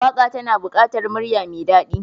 Waka tana bukatar murya mai dadi.